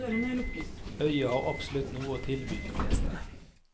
Øya har absolutt noe å tilby de fleste.